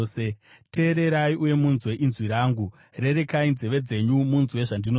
Teererai uye munzwe inzwi rangu; rerekai nzeve dzenyu munzwe zvandinoreva.